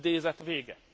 Idézet vége.